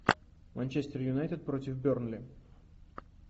манчестер юнайтед против бернли